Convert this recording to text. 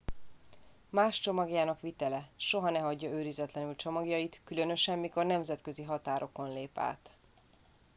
más csomagjának vitele soha ne hagyja őrizetlenül csomagjait különösen mikor nemzetközi határokon lép át